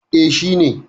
eh shi ne